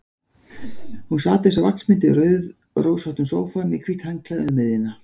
Hún sat eins og vaxmynd í rauðrósóttum sófa, með hvítt handklæði um miðjuna.